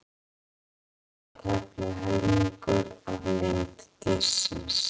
Halinn var tæplega helmingur af lengd dýrsins.